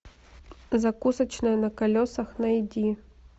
закусочная на колесах найди